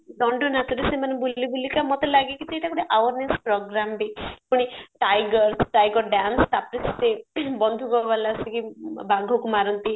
ଦଣ୍ଡ ନାଚରେ ସେମାନେ ବୁଲି ବୁଲିକା ମତେ ଲାଗେ କି ସେଇଟା ଗୋଟେ awareness program ବି ପୁଣି tiger tiger dance ତାପରେ ସେ ବନ୍ଧୁକ ବାଲା ଆସିକି ବାଘକୁ ମାରନ୍ତି